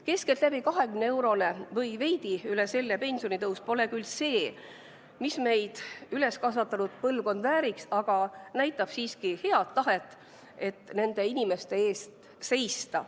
Keskeltläbi 20 eurot või veidi üle selle pensionitõus pole küll see, mida meid üles kasvatanud põlvkond vääriks, aga näitab siiski head tahet nende inimeste eest seista.